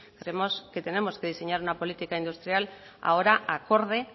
creemos que tenemos que diseñar una política industrial ahora acorde